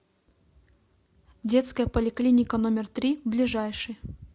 детская поликлиника номер три ближайший